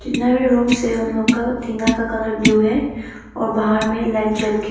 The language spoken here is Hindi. नेवी रूम से उन लोग का टीना का कलर ब्ल्यू है और बाहर में लाइट जल के।